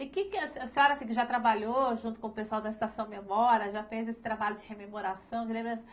E que que a se, a senhora já trabalhou junto com o pessoal da Estação Memória, já fez esse trabalho de rememoração, de lembrança?